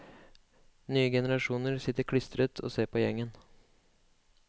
Nye generasjoner sitter klistret og ser på gjengen.